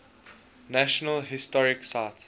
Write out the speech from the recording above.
national historic site